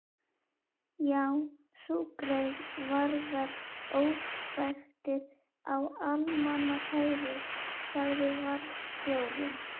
Já, sú grein varðar óspektir á almannafæri sagði varðstjórinn.